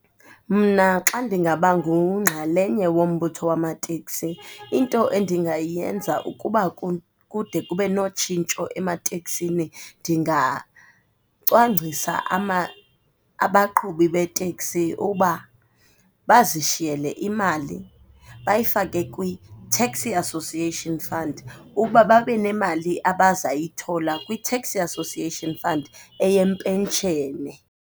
Mna xa ndingaba ngunxalenye wombutho wamateksi into endingayenza ukuba kude kube notshintsho emateksini ndingacwangcisa abaqhubi beteksi uba bazishiyele imali, bayifake kwiTaxi Association Fund uba babe nemali abazoyithola kwiTaxi Association Fund eyempenshene.